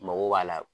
Mago b'a la